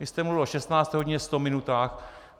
Vy jste mluvil o 16. hodině, 100 minutách.